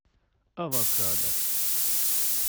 авокадо